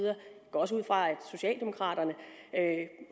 går også ud fra at socialdemokraterne